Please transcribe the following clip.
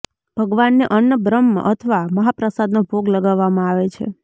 ભગવાનને અન્ન બ્રહ્મ અથવા મહાપ્રસાદનો ભોગ લગાવવામાં આવે છે